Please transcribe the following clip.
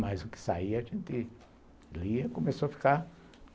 Mas o que saía a gente lia e começou a ficar.